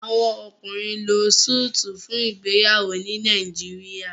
Àwọn ọkùnrin ló Súìtì fún ìgbéyàwó ní Nàìjíríà.